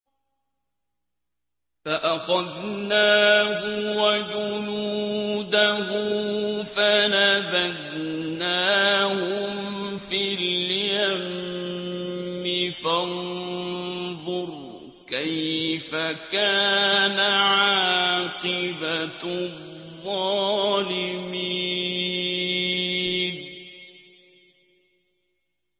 فَأَخَذْنَاهُ وَجُنُودَهُ فَنَبَذْنَاهُمْ فِي الْيَمِّ ۖ فَانظُرْ كَيْفَ كَانَ عَاقِبَةُ الظَّالِمِينَ